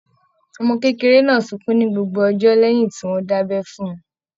Ọmọ kékeré náà sunkún ní gbogbo ọjọ́ lẹ́hìn tí wọ́n dábẹ́ fún - un.